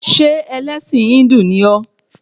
Ṣé ẹlẹ́sìn Híndù ni ọ́?